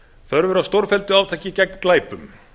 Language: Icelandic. þörf er á stórfelldu átaki gegn glæpum